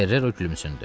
Ferrero gülümsündü.